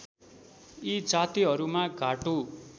यी जातिहरुमा घाटु